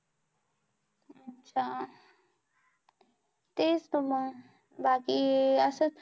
अच्छा! तेच तर मंग बाकी अं असंच.